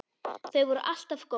Þau voru alltaf góð.